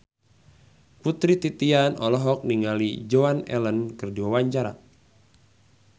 Putri Titian olohok ningali Joan Allen keur diwawancara